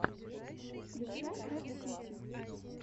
включай трэп сити